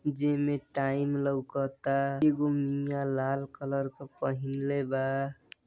जैमे टाइम लौकत ता। एगो मिया लाल कलर का पहिंले बा --